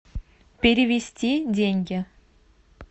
перевести деньги